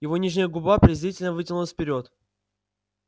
его нижняя губа презрительно вытянулась вперёд